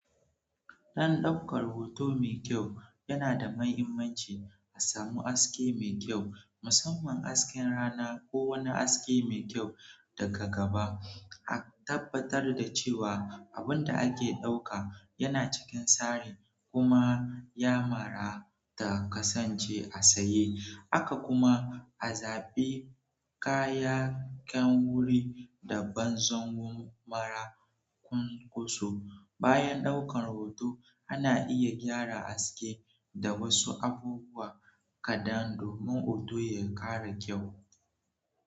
Don ɗaukar hoto mai kyau, yana da mahimmanci a samu haske mai kyau, musamman hasken rana ko wani haske mai kyau daga gaba. A tabbatar da cewa abin da ake ɗauka yana cikin tsari kuma kyamara ta kasance a tsaye. Haka kuma a zaɓi kayayyakin wuri da banzan zango mara ƙun kuso. Bayan ɗaukar hoto, ana iya gyara aske da wasu abubuwa kaɗan domin hoto ya ƙara kyau.